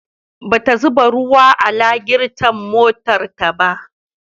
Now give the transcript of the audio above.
Bata zuba ruwa a lagirton motarta ba.